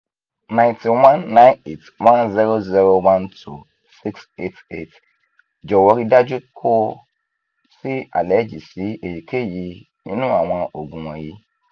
92 9810012688 jọwọ rii daju ko si aleji si eyikeyi ninu awọn oogun wọnyi